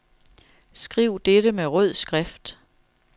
Skriv dette med rød skrift.